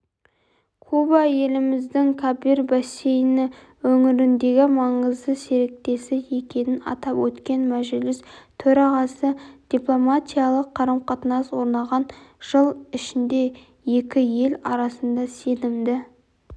куба еліміздің кабир бассейні өңіріндегі маңызды серіктесі екенін атап өткен мәжіліс төрағасы дипломатиялық қарым-қатынас орнаған жыл ішінде екі ел арасында сенімді